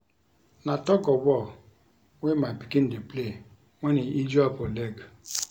Na tug of war wey my pikin dey play wen he injure for leg